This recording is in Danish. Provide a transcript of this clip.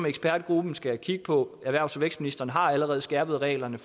ekspertgruppen skal kigge på og erhvervs og vækstministeren har allerede skærpet reglerne